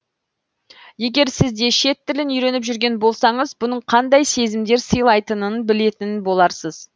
егер сіз де шет тілін үйреніп жүрген болсаңыз бұның қандай сезімдер сыйлайтынын білетін боларсыз